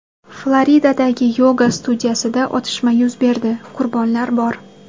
Floridadagi yoga studiyasida otishma yuz berdi, qurbonlar bor.